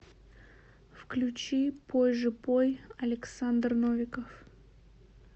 включи пой же пой александр новиков